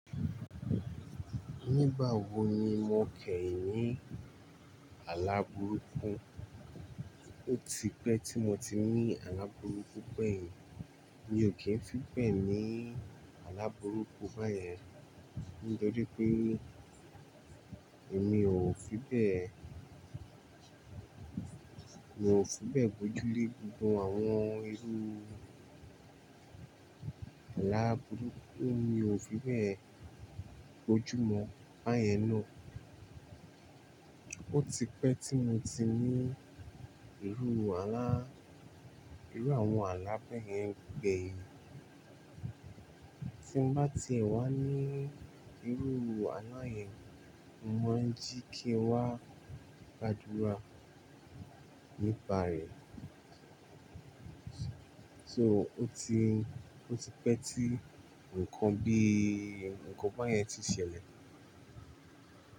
Nígbà wo ni mo ké ní alábùrúkú? Ó ti pẹ́ tí mo ti ní alábùrúkú pẹ́yìn. Mi ò kí ń fi bẹ́ ní alábùrúkú báyẹn. Nítorí pé èmi ò fi bẹ́, mi ò fi bẹ́ bojú lé gbogbo àwọn irú alábùrúkú, mi ò fi bẹ́ bojú mọ báyẹn náà. Ó ti pẹ́ tí mo ti ní irú alá, irú àwọn alá bẹ́yẹn gbẹ́yìn. Tí n bá ti wà ní irú alà yẹn, mo ń jí kí n wá gbàdúrà nípa rẹ̀. So ó ti, ó ti pẹ́ tí nǹkan bí i nǹkan báyẹn ti ṣẹlẹ̀.